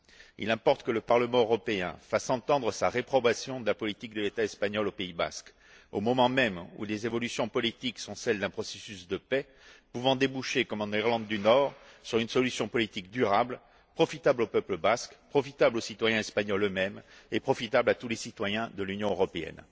Il importe que le Parlement européen fasse entendre sa réprobation de la politique de l'État espagnol au Pays basque, au moment même où les évolutions politiques sont celles d'un processus de paix pouvant déboucher, comme en Irlande du Nord, sur une solution politique durable, profitable au peuple basque, profitable aux citoyens espagnols eux mêmes et profitable à tous les citoyens de l'Union européenne.